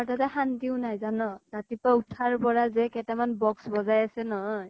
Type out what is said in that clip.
তাতে শান্তিও নাই জানা। ৰাতিপুৱা উঠাৰ পৰাই যে কেইটামান box বজাই আছে নহয়